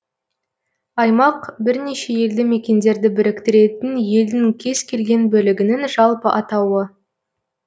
аймақ бірнеше елді мекендерді біріктіретін елдің кез келген бөлігінің жалпы атауы